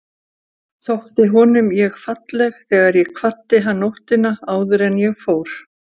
Þótti honum ég falleg þegar ég kvaddi hann nóttina áður en ég fór?